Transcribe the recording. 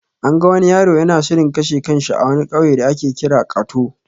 An ga wani yaro yana shirin kashe kan shi a wani ƙauye da ake kira kato.